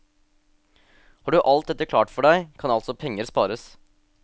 Har du alt dette klart for deg, kan altså penger spares.